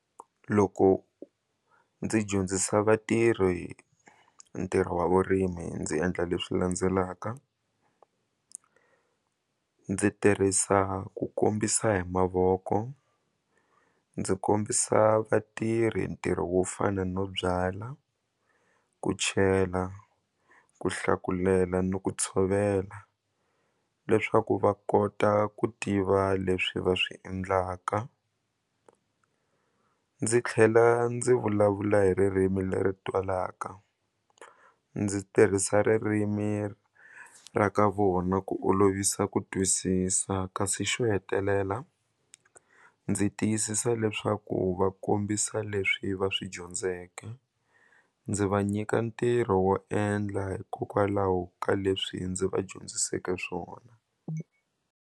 Loko ndzi dyondzisa vatirhi ntirho wa vurimi ndzi endla leswi landzelaka ndzi tirhisa ku kombisa hi mavoko ndzi kombisa vatirhi ntirho wo fana no byala ku chela ku hlakulela ni ku tshovela leswaku va kota ku tiva leswi va swi endlaka ndzi tlhela ndzi vulavula hi ririmi leri twalaka ndzi tirhisa ririmi ra ka vona ku olovisa ku twisisa kasi xo hetelela ndzi tiyisisa leswaku u va kombisa leswi va swi dyondzeke ndzi va nyika ntirho wo endla hikokwalaho ka leswi ndzi va dyondziseke swona.